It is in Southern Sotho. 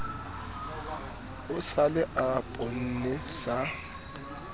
o sale o ponne sa